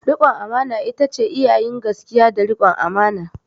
Rikon amana ita ce iya yin gaskiya da rikon amana.